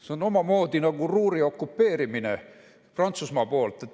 See on omamoodi nagu Ruhri okupeerimine Prantsusmaa poolt.